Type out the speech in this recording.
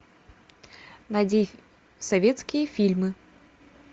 найди советские фильмы